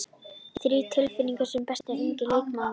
Þrír tilnefndir sem besti ungi leikmaðurinn